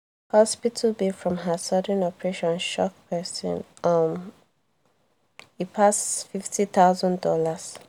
the hospital bill from her sudden operation shock person um e pass fifty thousand dollars